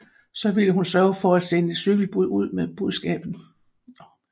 Så ville hun sørge for at sende et cykelbud ud med beskeden